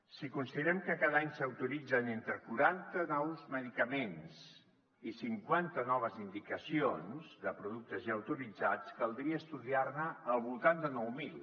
si considerem que cada any s’autoritzen entre quaranta nous medicaments i cinquanta noves indicacions de productes ja autoritzats caldria estudiar ne al voltant de nou mil